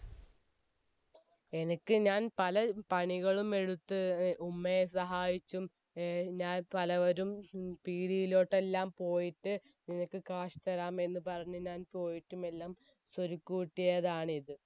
എനിക്ക് ഞാൻ പല പണികളും എടുത്ത്ഉ ഏർ മ്മയെ സഹായിച്ചും ഏർ ഞാൻ പലവരും പീടിലോട്ട് എല്ലാം പോയിട്ട് നിനക്ക് cash തരാം എന്ന് പറഞ് ഞാൻ പോയിട്ടുമെല്ലാം ഞാൻ സ്വരുക്കൂട്ടിയതാണ് ഇത്